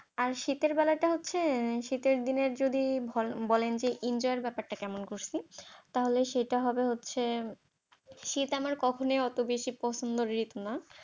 আর শীতের বেলাটা হচ্ছে, শীতের দিনের যদি বলেন যে যদি enjoy এর ব্যাপারটা কেমন করছি, তাহলে সেটা হবে হচ্ছে শীত আমার কখনই অত বেশি পছন্দের ঋতু না ।